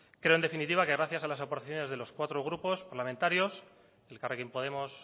creo en definitiva que gracias a las aportaciones de los cuatro grupos parlamentarios elkarrekin podemos